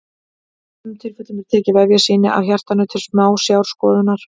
Í sumum tilfellum er tekið vefjasýni af hjartanu til smásjárskoðunar.